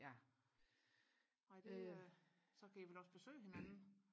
ja øh nej det er så kan I vel også besøge hinanden